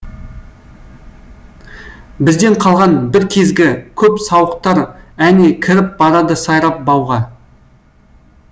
бізден қалған бір кезгі көп сауықтар әне кіріп барады сайрап бауға